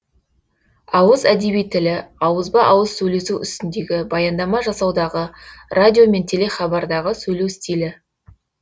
ауыз әдеби тілі ауызба ауыз сөйлесу үстіндегі баяндама жасаудағы радио мен телехабардағы сөйлеу стилі